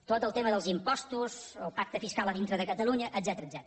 tot el tema dels impostos el pacte fiscal a dintre de catalunya etcètera